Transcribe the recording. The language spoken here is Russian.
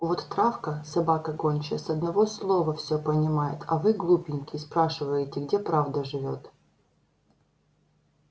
вот травка собака гончая с одного слова всё понимает а вы глупенькие спрашиваете где правда живёт